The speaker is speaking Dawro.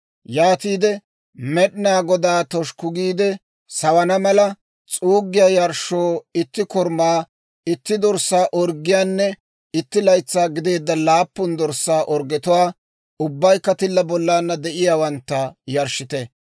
Yaatiide Med'inaa Godaa toshukku giide sawana mala, s'uuggiyaa yarshshoo itti korumaa, itti dorssaa orggiyaanne itti laytsaa gideedda laappun dorssaa orggetuwaa, ubbaykka tilla bollana de'iyaawantta, yarshshite.